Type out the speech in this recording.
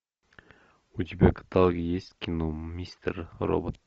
у тебя в каталоге есть кино мистер робот